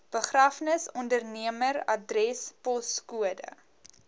begrafnisondernemer adres poskode